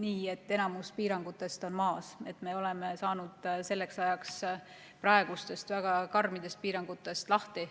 nii, et enamus piirangutest on maas, et me oleme saanud selleks ajaks praegustest väga karmidest piirangutest lahti.